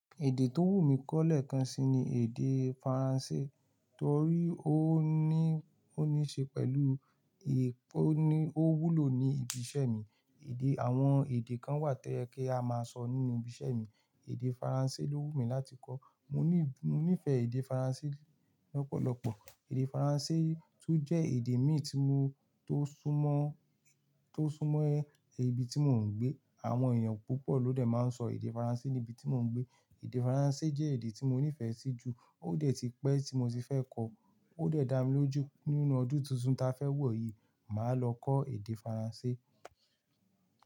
Èdè tó wù mí kọ́lẹ̀ kan sí ni èdè Faransé torí ó ní, ó níṣe pẹ̀lú, ó wúlò ní ibi iṣẹ́ mi. Àwọn èdè kan wà ti ó yẹ kí a máa sọ nínú ibi iṣẹ́ mi. Èdè Faransé ló wù mí láti kọ́. Mò ní, mò nífẹ̀ẹ́ èdè Faransé lọ́pọ̀lọpọ̀. Èdè Faransé tún jẹ́ èdè mí tí mo tó súmọ́, tó súnmọ́ ibi tí mò ń gbé. Àwọn èèyàn púpọ̀ ló dẹ̀ máa ń sọ èdè Faransé ní ibi tí mò ń gbé. Èdè Faransé jẹ́ èdè tí mo nífẹ̀ẹ́ sí ju. Ó dẹ̀ ti pẹ́ tí mo ti fẹ́ kọ́. Ó dẹ̀ dá mi lójú nínu ọdún tuntun ta fẹ́ wọ̀ yìí, màá lọ kọ́ èdè Faransé.